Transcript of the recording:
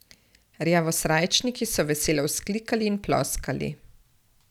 Rjavosrajčniki so veselo vzklikali in ploskali.